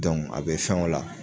a bi fɛn o la